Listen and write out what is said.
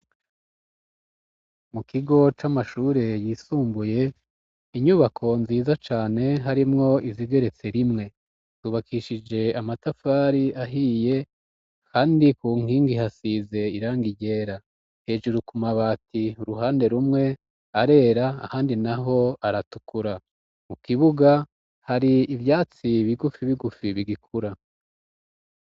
Mu kigo c'amashure yisumbuye inyubako nziza cane harimwo izigeretse rimwe tubakishije amatafari ahiye, kandi ku nkingi hasize iranga irera hejuru kumabati uruhande rumwe arera ahandi na ho aratukuwa ukibuga hari ivyatsi bigufi bigufi bigikura.